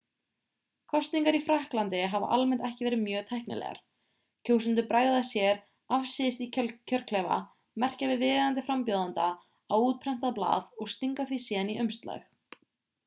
kosningar í frakklandi hafa almennt ekki verið mjög tæknilegar kjósendur bregða sér afsíðis í kjörklefa merkja við viðeigandi frambjóðanda á útprentað blað og stinga því síðan í umslag